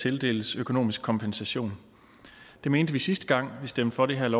tildeles økonomisk kompensation det mente vi sidste gang vi stemte for det